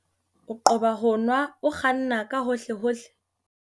O qoba ho nwa o kganna ka hohlehohle.